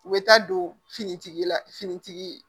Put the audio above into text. U bɛ taa don finitigi la finitigi ye